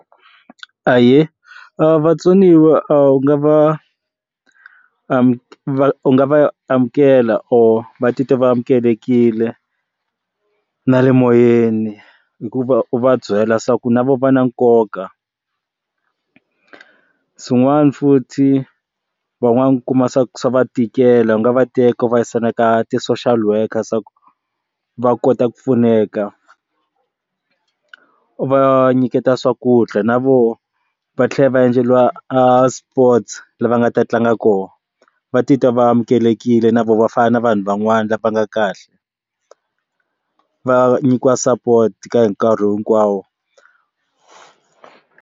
Ahee, vatsoniwa u nga va u nga va amukela or va titwa va amukelekile na le moyeni hikuva u va byela swa ku na vo va na nkoka ku xin'wana futhi vanwankumi swa swa va tikela ku nga va teka vavisana ka ti-social worker swa ku va kota ku pfuneka va nyiketa swakudya na vo va tlhela va endleriwa a sports lava nga ta tlanga kona va titwa va amukelekile na vo vafana na vanhu van'wana lava nga kahle, va nyikiwa support ka hi nkarhi hinkwawo.